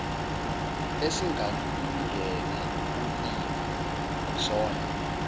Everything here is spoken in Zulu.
esingalungele ukulima akusona